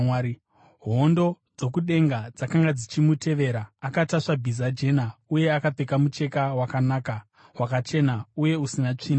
Hondo dzokudenga dzakanga dzichimutevera, akatasva bhiza jena uye akapfeka mucheka wakanaka, wakachena uye usina tsvina.